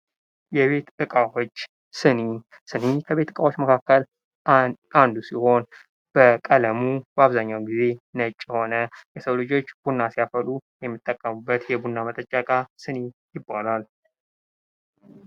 የቤት ዕቃዎች ስኒ፤ ስኒ ከቤት ዕቃዎች መካከል አንዱ ሲሆን በቀለሙ በአብዛኛው ጊዜ ነጭ የሆነ የሰው ልጆች ቡና ሲያፈሉ የሚጠቀሙበት የቡና መጠጫ ዕቃ ስኒ ይባላል።